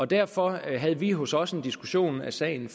derfor havde vi hos os en diskussion af sagen